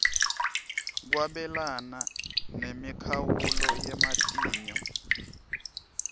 kwabelana nemikhawulo yematinyo